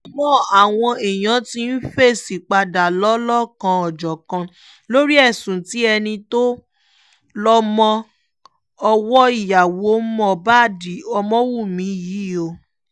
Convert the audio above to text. àmọ́ àwọn èèyàn ti ń fèsì padà lọ́lọ́kan-ò-jọ̀kan lórí ẹ̀sùn tí ẹni tó lọ́mọ-ọwọ́ ìyàwó moh bad ọmọwọ̀nmi yìí o